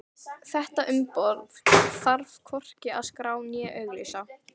Þetta umboð þarf hvorki að skrá né auglýsa.